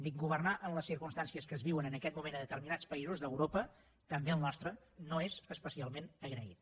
dic que governar en les circumstàncies que es viuen en aquest moment a determinats països d’europa també el nostre no és especialment agraït